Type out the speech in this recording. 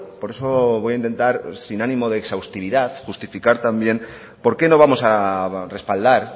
por eso voy a intentar sin ánimo de exhaustividad justificar también por qué no vamos a respaldar